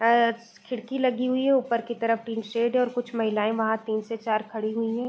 अ खिड़की लगी हुई हैं ऊपर की तरफ तीन शेड हैं और कुछ महिलायें वहाँ तीन से चार खड़ी हुई हैं।